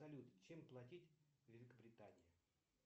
салют чем платить в великобритании